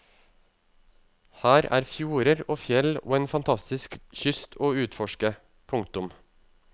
Her er fjorder og fjell og en fantastisk kyst å utforske. punktum